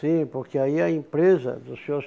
Sim, porque aí a empresa do Senhor